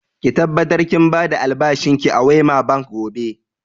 Ki tabbatar kin ba da albashin ki a Wema Bank gobe!